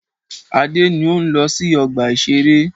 Adé ń ó ń lọ sí ọgbà-ìṣeré.